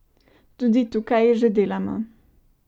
Tudi tukaj že delamo.